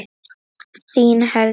Þín Herdís.